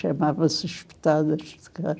Chamavam-se as pitadas de carne.